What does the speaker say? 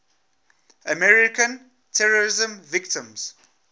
american terrorism victims